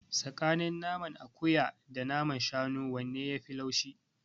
Tsakanin naman akuya da naman shanu wanne yafi laushi?